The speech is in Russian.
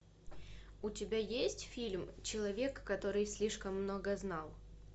у тебя есть фильм человек который слишком много знал